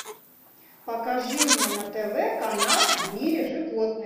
покажи мне на тв канал в мире животных